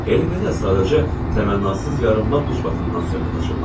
Elə belə, sadəcə təmənnasız yarınmaq ucbatından söhbət açırlar.